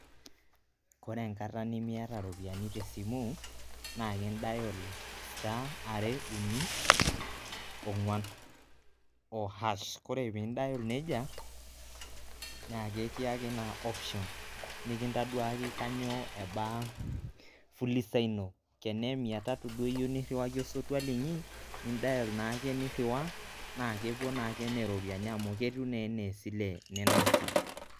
ore enkata nimiata iropiyiani te simu naa in dial star are ,uni, ongwan ,ohash, ore pin dial nejia naa ekiyaki naa option nikintaduaki kanyioo eba fuliza ino